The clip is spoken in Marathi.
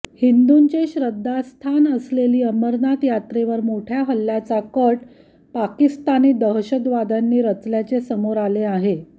हिंदूचे श्रद्धास्थान असलेली अमरनाथ यात्रेवर मोठ्या हल्ल्याचा कट पाकिस्तानी दहशतवाद्यांनी रचल्याचे समोर आले आहे